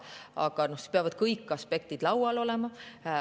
Aga siis peavad kõik aspektid laual olema.